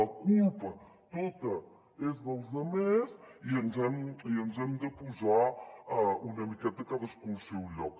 la culpa tota és dels altres i ens hem de posar una miqueta cadascú al seu lloc